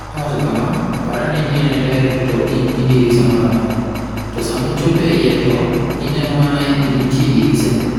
Nowacho kama: 'Par ane ni in e ndege to ok in gi dirisa moro amora, to sama ichopo e iye to ineno mana ni nitie diriseno.'